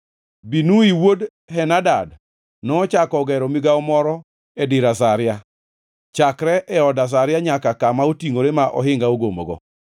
Binui wuod Henadad nochako ogero migawo moro e dir Azaria, chakre e od Azaria nyaka kama otingʼore ma ohinga ogomogo.